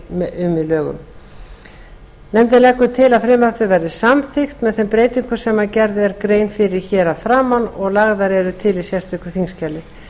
í lögunum nefndin leggur til að frumvarpið verði samþykkt með þeim breytingum sem gerð er grein fyrir hér að framan og lagðar eru til í sérstöku þingskjali